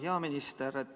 Hea minister!